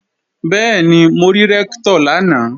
Bẹ́ẹ̀ni, mo rí Rẹ́ktọ̀ lánàá